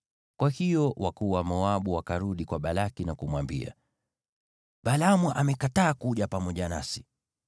Kwa hiyo wakuu wa Moabu wakarudi kwa Balaki na kumwambia, “Balaamu amekataa kuja pamoja nasi.”